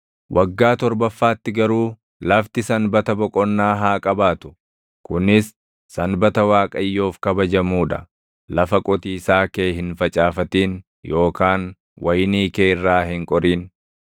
Waggaa torbaffaatti garuu lafti sanbata boqonnaa haa qabaatu; kunis sanbata Waaqayyoof kabajamuu dha. Lafa qotiisaa kee hin facaafatin yookaan wayinii kee irraa hin qorin.